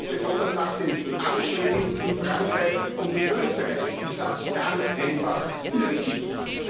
Und besonders nach den Anschlägen in Frankreich und in Österreich ist das ganz einfach irrsinnig.